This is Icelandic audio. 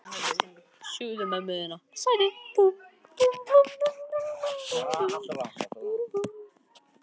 Á ég fyrir matnum á morgun?